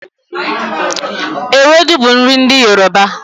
Ewedu bu nri ndi Yoruba